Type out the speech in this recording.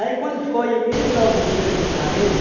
quando foi em mil novecentos e quarenta